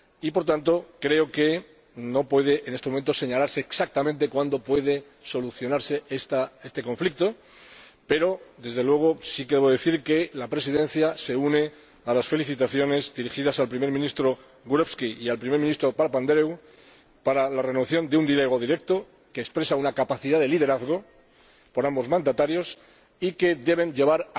Por lo tanto, en estos momentos no puede indicarse exactamente cuándo puede solucionarse este conflicto, pero, desde luego, sí que voy a decir que la Presidencia se une a las felicitaciones dirigidas al Primer Ministro Gruevski y al Primer Ministro Papandreu por la renovación de un diálogo directo, que expresa una capacidad de liderazgo por parte de ambos mandatarios y que debe llevar